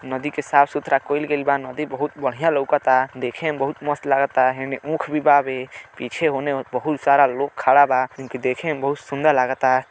नदी के साफ सुथरा कईल गईल बा। नदी बहुत बढ़िया लऊकता। देखे में बहुत मस्त लागता। हेने ऊख भी बावे। पीछे होने बहुल सारा लोग खड़ा बा। इनके देखे में बहुत सुन्दर लागता।